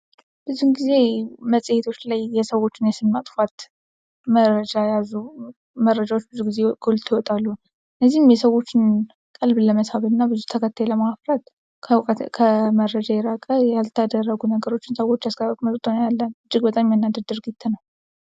ብዙውን ጊዜ መጽሄቶች ላይ የተሳሳቱ የስም ማጥፋት መረጃ የያዙ ብዙ ጊዜ ጎልተው ይወጣሉ ። እነዚህም የሰዎችን ቀልብ ለመሳብና ብዙ ተከታይ ለማፍራት ይጠቀሙባታል።